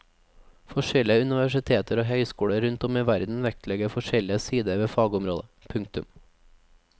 Forskjellige universiteter og høyskoler rundt om i verden vektlegger forskjellige sider ved fagområdet. punktum